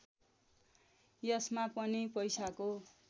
यसमा पनि पैसाको